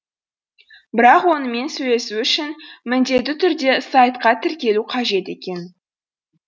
бірақ онымен сөйлесу үшін міндетті түрде сайтқа тіркелу қажет екен